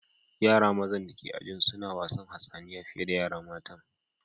Yara mazan dake ajin sun wasan hatsaniya fiye da yara matan.